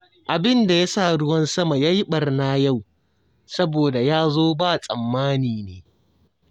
Abin da ya sa ruwan sama ya yi ɓarna yau, saboda ya zo ba tsammani ne